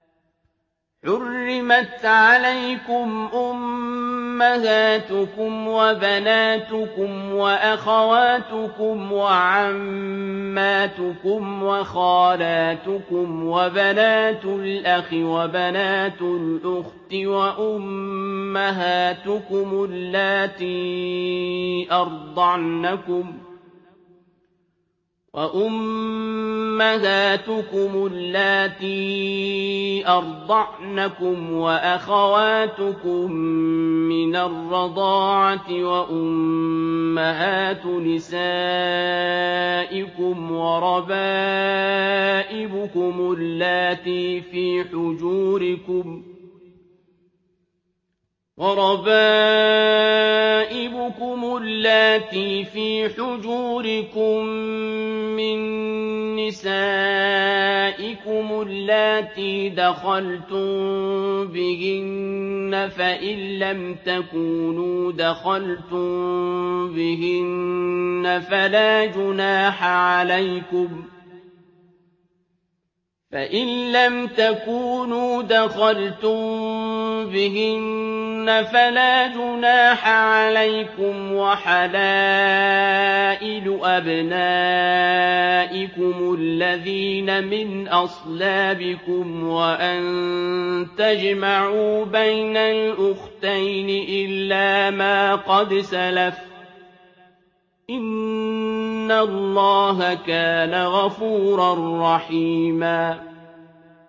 حُرِّمَتْ عَلَيْكُمْ أُمَّهَاتُكُمْ وَبَنَاتُكُمْ وَأَخَوَاتُكُمْ وَعَمَّاتُكُمْ وَخَالَاتُكُمْ وَبَنَاتُ الْأَخِ وَبَنَاتُ الْأُخْتِ وَأُمَّهَاتُكُمُ اللَّاتِي أَرْضَعْنَكُمْ وَأَخَوَاتُكُم مِّنَ الرَّضَاعَةِ وَأُمَّهَاتُ نِسَائِكُمْ وَرَبَائِبُكُمُ اللَّاتِي فِي حُجُورِكُم مِّن نِّسَائِكُمُ اللَّاتِي دَخَلْتُم بِهِنَّ فَإِن لَّمْ تَكُونُوا دَخَلْتُم بِهِنَّ فَلَا جُنَاحَ عَلَيْكُمْ وَحَلَائِلُ أَبْنَائِكُمُ الَّذِينَ مِنْ أَصْلَابِكُمْ وَأَن تَجْمَعُوا بَيْنَ الْأُخْتَيْنِ إِلَّا مَا قَدْ سَلَفَ ۗ إِنَّ اللَّهَ كَانَ غَفُورًا رَّحِيمًا